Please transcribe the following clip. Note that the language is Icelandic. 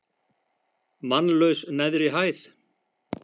Mannlaus neðri hæð.